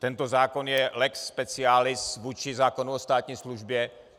Tento zákon je lex specialis vůči zákonu o státní službě.